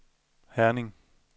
Herning